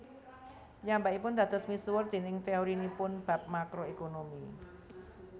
Piyambakipun dados misuwur déning teorinipun bab Makro Ekonomi